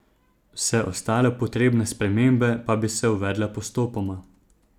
Vse ostale potrebne spremembe pa bi se uvedle postopoma.